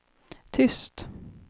tyst